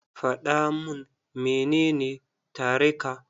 Faɗa mun menene tare ka.